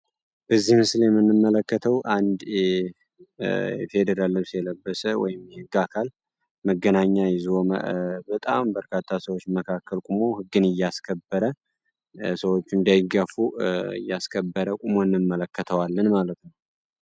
በዚህ ምስል የምንመለከተው አንድ የፌደራል ልብስ የለበሰ ወይም የህግ አካል መገናኛና የዞን በጣም በርካታ ሰዎች መካከል ቁሙ ህግን እያስከበረ ሰዎች እንዳይጋፉ እያስከበረ ቁሞ እናየዋለን ማለት ነው።